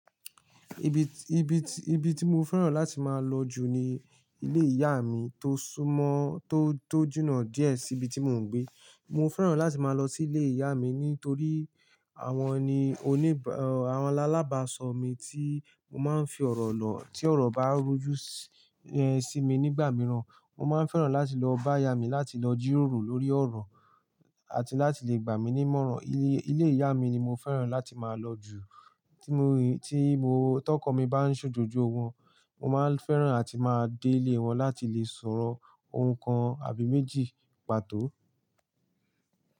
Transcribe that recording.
Ibi, ibi, ibi tí mo fẹ́ràn láti máa lọ jù ni ilé ìyá mi tó súmọ́, tó, tó jùnà díẹ̀ sí ibi tí mò ń gbé. Mo fẹ́ràn láti máa lọ sí ilé ìyá mi nítorí àwọn ni oníba-- àwọn làbàsọ mi tí mo máa ń fi ọ̀rọ̀ lọ̀. Tí ọ̀rọ̀ bá rú jú sí, sí mi nígbà mìíràn, mo máa ń fẹ́ràn láti lọ bá ìyá mi láti lọ jíròrò lórí ọ̀rọ̀ àti láti lè gbà mí ní mọ́ràn. Ilé, ilé ìyá mi ni mo fẹ́ràn láti máa lọ jù. Tí mo rí, tí mo tọkọ mi bá ń ṣòjójó wọn, mo máa ń fẹ́ràn àti máa dé ilé wọn láti lè sọ̀rọ̀ ohun kan àbí méjì pàtó.